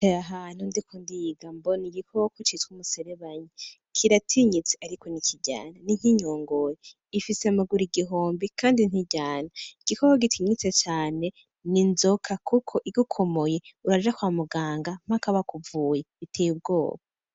Aha hantu ndiko ndiga mbona igikoko citwa umuserebanyi. Kiratinyitse ariko ntikiryana, ni nk'inyongori, ifise amaguru igihumbi kandi ntiryana. Igikoko gitinyitse cane ni inzoka kuko igukomoye uraja kwa muganga mpaka bakuvuye, biteye ubwoba.